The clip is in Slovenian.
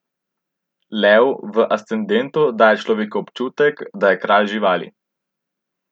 Lev v ascendentu daje človeku občutek, da je kralj živali.